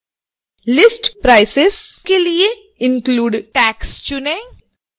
list prices के लिए include tax चुनें